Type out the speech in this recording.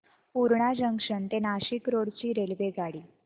Purna junction ते Nashik road ची रेल्वेगाडी